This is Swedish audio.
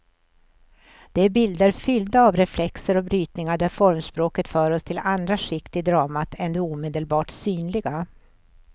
Det är bilder fyllda av reflexer och brytningar där formspråket för oss till andra skikt i dramat än de omedelbart synliga.